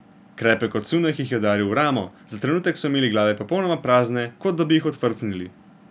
Krepek odsunek jih je udaril v ramo, za trenutek so imeli glave popolnoma prazne, kot da bi jih odfrcnili.